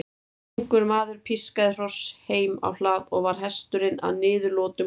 Ungur maður pískaði hross heim á hlað og var hesturinn að niðurlotum kominn.